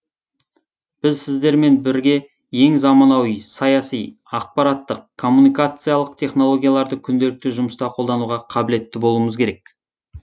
біз сіздермен бірге ең заманауи саяси ақпараттық коммуникациялық технологияларды күнделікті жұмыста қолдануға қабілетті болуымыз керек